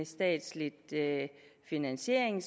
statslig finansiering